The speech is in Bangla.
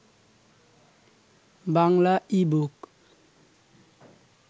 বাংলা ই-বুক